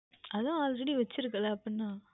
அதுதான் Allready வைத்து இருக்கின்றாய் அல்லவா அப்புறம் என்ன